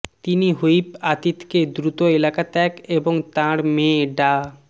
তিনি হুইপ আতিককে দ্রুত এলাকা ত্যাগ এবং তাঁর মেয়ে ডা